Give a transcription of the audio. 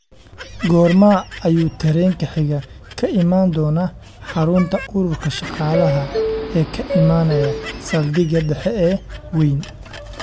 goorma ayuu tareenka xiga ka iman doonaa xarunta ururka shaqaalaha ee ka imanaya saldhiga dhexe ee wayn